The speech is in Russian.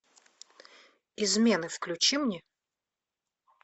измены включи мне